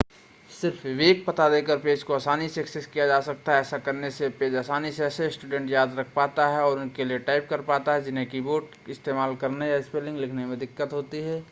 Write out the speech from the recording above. सिर्फ़ एक वेब पता देकर इस पेज को आसानी से एक्सेस किया जा सकता है ऐसा करने से यह पेज आसानी से ऐसे स्टूडेंट याद रख पाता है और उनके लिए टाइप कर पाता है जिन्हें की-बोर्ड इस्तेमाल करने या स्पेलिंग लिखने में दिक्कत होती है